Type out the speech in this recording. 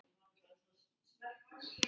Falskar fréttir eru ekkert nýtt.